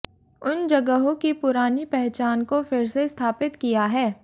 उन जगहों की पुरानी पहचान को फिर से स्थापित किया है